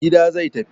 Gida zai tafi.